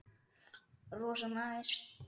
Rosa næs.